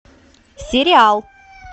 сериал